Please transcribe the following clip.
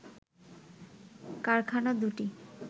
কারখানা দুটি